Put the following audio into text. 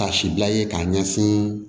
Kasi bila ye k'a ɲɛsin